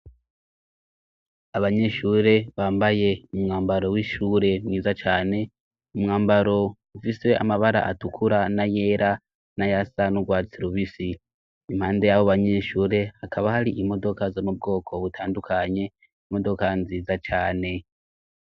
Abanyeshure bambaye mumwambaro w'ishure mwiza cane mumwambaro ufisewe amabara atukura na yera n'a yasan'urwatsirubisi impande y'abo banyeshure hakaba hari imodoka zo mu bwoko butandukanye imodoka nziza cane.